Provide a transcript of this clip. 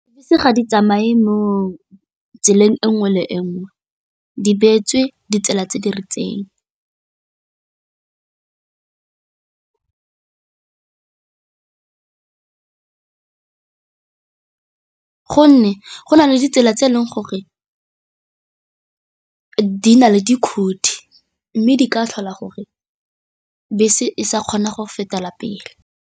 Bese ga di tsamaye mo tseleng e nngwe le e nngwe, di beetswe ditsela tse di rileng gonne go na le ditsela tse e leng gore di na le di mme di ka tlhola gore bese e sa kgona go fetela pele.